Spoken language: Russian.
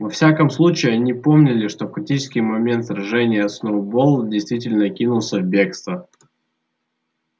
во всяком случае они помнили что в критический момент сражения сноуболл действительно кинулся в бегство